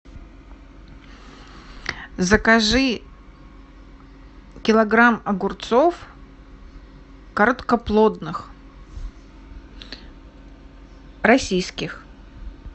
закажи килограмм огурцов короткоплодных российских